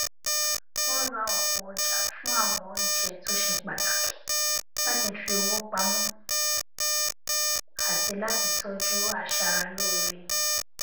wọn ra ọpọ ọjà fún àwọn oúnjẹ tó ṣe pàtàkì láti fi owó pamọ àti láti tọjú aṣara lóore